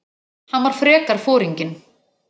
Hann var frekar foringinn.